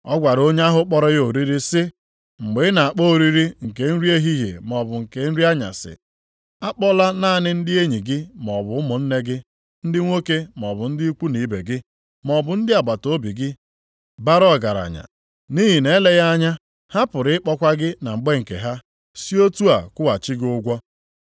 Ọ gwara onye ahụ kpọrọ ya oriri sị, “Mgbe ị na-akpọ oriri nke nri ehihie maọbụ nke nri anyasị, akpọla naanị ndị enyi gị maọbụ ụmụnne gị ndị nwoke maọbụ ndị ikwu na ibe gị, maọbụ ndị agbataobi gị bara ọgaranya, nʼihi ma eleghị anya, ha pụrụ ịkpọkwa gị na mgbe nke ha, sị otu a kwụghachi gị ụgwọ.